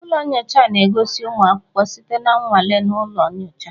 Ụlọ nyocha na-gosi ụmụ akwụkwọ site na nnwale na ụlọ nyocha